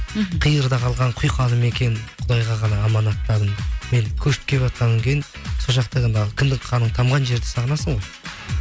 қиырда қалған құйқалы мекен құдайға ғана аманаттадым енді көшіп келіватқаннан кейін сол жақта қалған кіндік қаның тамған жерді сағынасың ғой